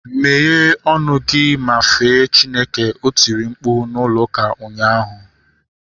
Meghe ọnụ gị ma fee Chineke! O tiri na mkpu n'ụlọ ụka ụnyaahụ